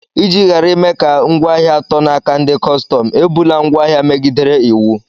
Iji ghara ime ka ngwaahịa tọọ n'aka ndị kọstọm, ebula ngwaahịa megidere Iwu.